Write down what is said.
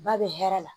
Ba bɛ hɛrɛ la